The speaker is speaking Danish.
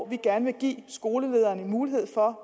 vi gerne vil give skolelederen mulighed for